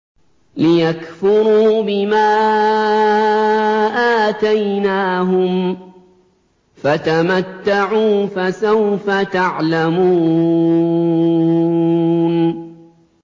لِيَكْفُرُوا بِمَا آتَيْنَاهُمْ ۚ فَتَمَتَّعُوا فَسَوْفَ تَعْلَمُونَ